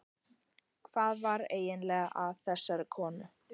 Hvað var eiginlega að þessari konu?